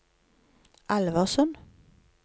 Alversund